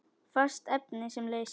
Fast efni sem leysir